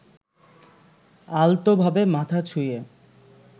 আলতোভাবে মাথা ছুঁইয়ে